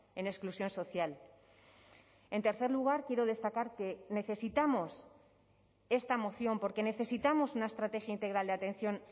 en exclusión social en tercer lugar quiero destacar que necesitamos esta moción porque necesitamos una estrategia integral de atención